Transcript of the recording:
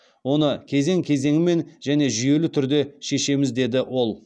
оны кезең кезеңмен және жүйелі түрде шешеміз деді ол